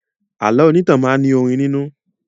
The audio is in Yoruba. Àlọ́ onítàn máa ní orin nínú